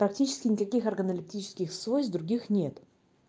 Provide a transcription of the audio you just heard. практически никаких органолептических свойств других нет